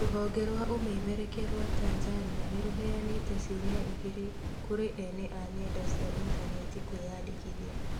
Rũhonge rwa ũmemerekia rwa Tanzania nĩrũheanĩte ciumia igĩrĩ kũrĩ ene a nenda cia intaneti kwĩyandĩkithia